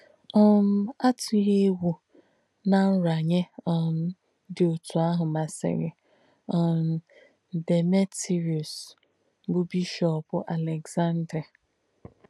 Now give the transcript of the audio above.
um Àtùghị̄ ègwù nà ǹrànànyè um dí ótù àhù màsìrī um Dèmètrìùs, bụ̀ bìshọ̀p Àlèksàndría.